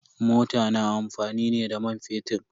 Mota na amfani ne da man fetir.